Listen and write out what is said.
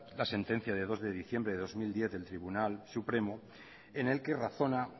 la sentencia de dos de diciembre del dos mil diez del tribunal supremo en el que razona